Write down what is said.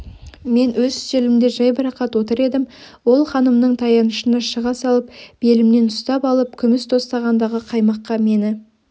мен өз үстелімде жайбарақат отыр едім ол ханымның таянышына шыға салып белімнен ұстап алып күміс тостағандағы қаймаққа мені